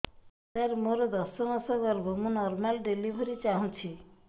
ସାର ମୋର ଦଶ ମାସ ଗର୍ଭ ମୁ ନର୍ମାଲ ଡେଲିଭରୀ ଚାହୁଁଛି